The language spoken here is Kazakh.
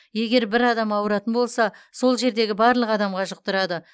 егер бір адам ауыратын болса сол жердегі барлық адамға жұқтырады